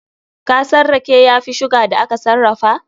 Kasan rake ya fi sugar da aka sarrafa?